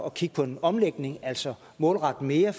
at kigge på en omlægning altså målrette mere